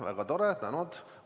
Väga tore!